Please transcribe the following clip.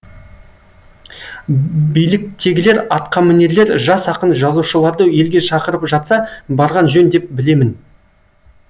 биліктегілер атқамінерлер жас ақын жазушыларды елге шақырып жатса барған жөн деп білемін